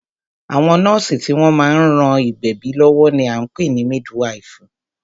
Àwọn nọ́ọ̀sì tí wọ́n má ń ran ìgbẹ̀bí lọ́wọ́ ní a ń pè ní mídwifù.